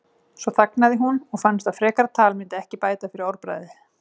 Svo þagnaði hún og fannst að frekara tal myndi ekki bæta fyrir orðbragðið.